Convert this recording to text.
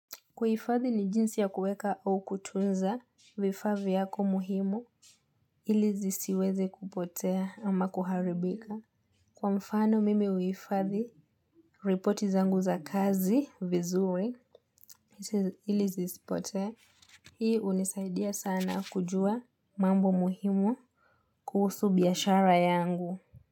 Kuhifadhi ni jinsi ya kuweka au kutunza vifaa vyako muhimu ili zisiweze kupotea ama kuharibika Kwa mfano mimi huhifadhi repoti zangu za kazi vizuri ili zi sipotee Hii hunisaidia sana kujua mambo muhimu kuhusu biashara yangu.